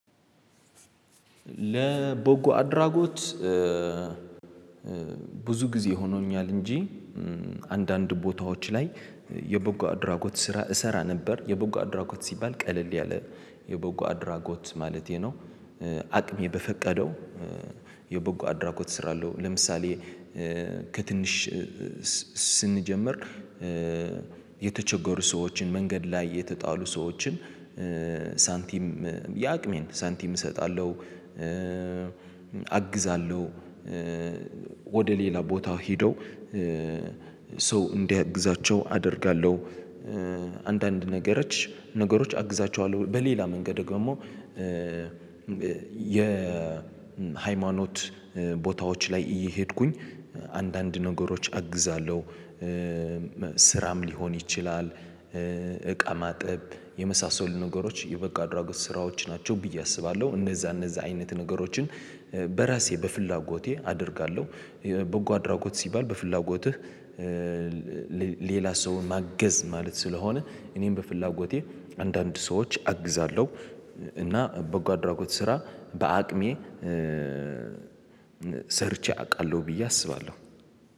ቦጎ አድራጎት ብዙ ጊዜ ሆኖኛል እንጂ አንዳንድ ቦታዎች ላይ የቦጋ አድራጎት ስራ እሰራ ነበር የቦጋ አድራጎት ሲባል ቀለል ያለ የበጎ አድራጎት ማለቴ ነው። አቅሜ በፈቀደው የበጎ አድራጎት እሰራለሁ። ለምሳሌ ከትንሽ ስንጀምር የተቸገሩ ሰዎችን መንገድ ላይ የተጣሉ ሰዎችን ሳንቲም የአቅሜን ሳንቲም እሰጣለሁ አግዛለሁ ወደ ሌላ ቦታው ሄደው ሰው እንዲያግዛቸው አደርጋለሁ። አንዳንድ ነገሮች ነገሮች አግዛቸዋለሁ በሌላ መንገድ ደግሞ የሃይማኖት ቦታዎች ላይ እየሄድኩኝ አንዳንድ ነገሮች አግዛለሁ። ስራም ሊሆን ይችላል እቃ ማጠብ የመሳሰሉ ነገሮች የበጎ ኣድራጎት ስራዎች ናቸው ብዬ አስባለሁ። እነዛ እነዛ አይነት ነገሮችን በራሴ በፍላጎቴ አደርጋለሁ። በጎ አድራጎት ሲባል በፍላጎትህ ሌላ ሰውን ማገዝ ማለት ስለሆነ እኔም በፍላጎቴ አንዳንድ ሰዎች አግዛለሁ። እና በጎ አድራጎት ስራ በአቅሜ ሰርቼ አውቃለሁ ብዬ አስባለሁ።